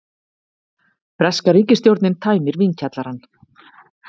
Breska ríkisstjórnin tæmir vínkjallarann